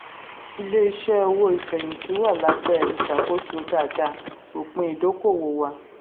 ilé-iṣẹ́ owó ìfẹ̀yìntì wà lábẹ́ ìṣàkóso dáadáa; òpin ìdókòwó wà.